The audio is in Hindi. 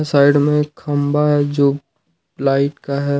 साइड में एक खंबा जो लाइट का है।